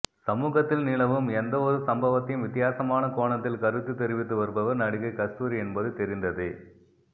சமூகத்தில் நிலவும் எந்த ஒரு சம்பவத்தையும் வித்தியாசமான கோணத்தில் கருத்து தெரிவித்து வருபவர் நடிகை கஸ்தூரி என்பது தெரிந்ததே